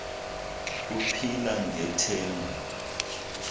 ku phila ngethemba